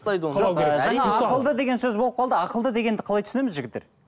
жаңа ақылды деген сөз болып қалды ақылды дегенді қалай түсінеміз жігіттер